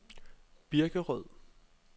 Birkerød